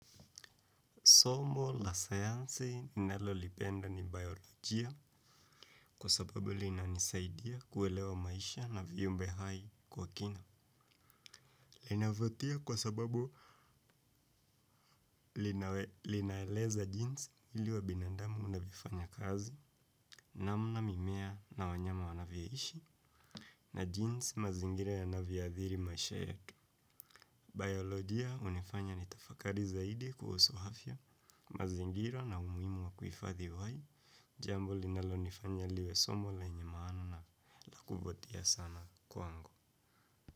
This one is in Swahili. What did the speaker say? Somo la sayansi ninaolipenda ni bayolojia kwa sababu linanisaidia kuelewa maisha na viumbe hai kwa kina. Linavutia kwa sababu linaeleza jinsi mwili wa binandamu unavyoifanya kazi namna mimea na wanyama wanavyoishi na jinsi mazingira yanavyoadhiri maisha yetu. Bayologia hunifanya nitafakari zaidi kuhusu afya, mazingira na umuhimu wa kuifadhi uhai, jambo linalonifanya liwe somo lenye maana na kuvutia sana kwangu.